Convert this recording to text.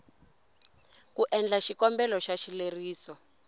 ku endla xikombelo xa xileriso